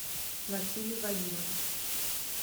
василий вадимович